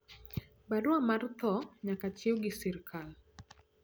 barua mar tho nyaka chiw gi serikal